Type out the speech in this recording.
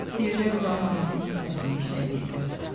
Bircə Vüqarın anasının səsini eşidə bildim.